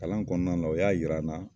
Kalan kɔnɔna na o y'a yira n na.